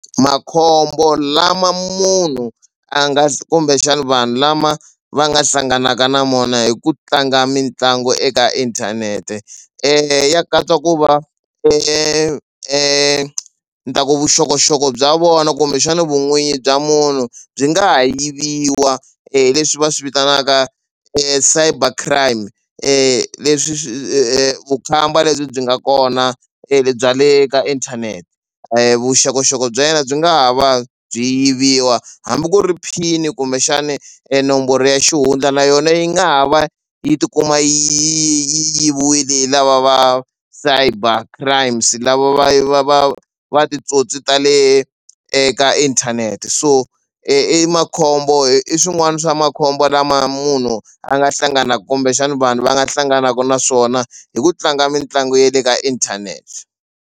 Makhombo lama munhu a nga kumbexana vanhu lama va nga hlanganaka na mona hi ku tlanga mitlangu eka inthanete ya katsa ku va ni ta ku vuxokoxoko bya vona kumbexana vun'wini bya munhu byi nga ha yiviwa leswi va swi vitanaka cyber crime leswi vukhamba lebyi byi nga kona le bya le ka inthanete vuxokoxoko bya yena byi nga ha va byi yiviwa hambi ku ri pin kumbexani enomboro ya xihundla na yona yi nga ha va yi tikuma yi yiviwile hi lava va cyber crime se lava va va va va titsotsi ta le eka inthanete so i makhombo i swin'wana swa makhombo lama munhu a nga hlanganaka kumbexana vanhu va nga hlanganaka na swona hi ku tlanga mitlangu ya le ka inthanete.